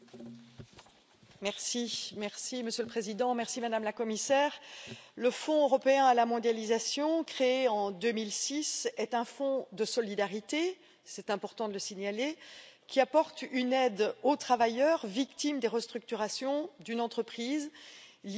Monsieur le Président, Madame la Commissaire, le Fonds européen d'ajustement à la mondialisation, créé en 2006, est un fonds de solidarité c'est important de le signaler qui apporte une aide aux travailleurs victimes des restructurations d'entreprise liées à l'ouverture de l'économie à la mondialisation.